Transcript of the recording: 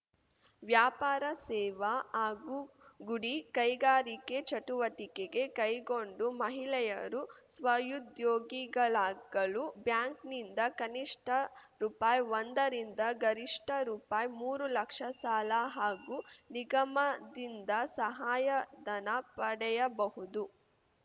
ವ್ಯಾಪಾರ ಸೇವಾ ಹಾಗೂ ಗುಡಿ ಕೈಗಾರಿಕೆ ಚಟುವಟಿಕೆಗೆ ಕೈಗೊಂಡು ಮಹಿಳೆಯರು ಸ್ವಉದ್ಯೋಗಿಗಳಾಗಲು ಬ್ಯಾಂಕ್‌ನಿಂದ ಕನಿಷ್ಠ ರುಪಾಯಿಒಂದ ರಿಂದ ಗರಿಷ್ಠ ರುಪಾಯಿಮೂರು ಲಕ್ಷ ಸಾಲ ಹಾಗೂ ನಿಗಮದಿಂದ ಸಹಾಯಧನ ಪಡೆಯಬಹುದು